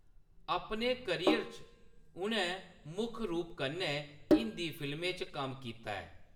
अपने करियर च, उʼनैं मुक्ख रूप कन्नै हिंदी फिल्में च कम्म कीता ऐ।